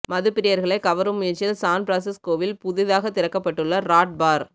மது பிரியர்களை கவரும் முயற்சியில் சான்பிரான்சிஸ்கோவில் புதிதாக திறக்கப்பட்டுள்ள ராட் பார்